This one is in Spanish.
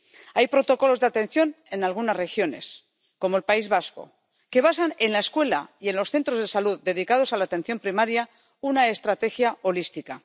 Hay protocolos de atención en algunas regiones, como el País Vasco, que basan en la escuela y en los centros de salud dedicados a la atención primaria una estrategia holística.